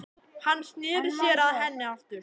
Hann sneri sér að henni aftur.